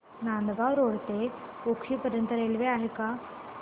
Nandgaon road ते उक्षी पर्यंत railway आहे का